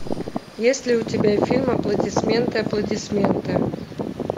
есть ли у тебя фильм аплодисменты аплодисменты